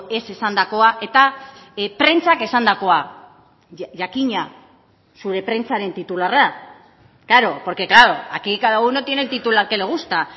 ez esandakoa eta prentsak esandakoa jakina zure prentsaren titularra klaro porque claro aquí cada uno tiene el titular que le gusta